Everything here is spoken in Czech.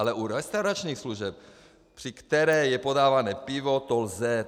Ale u restauračních služeb, při kterých je podávané pivo, to lze.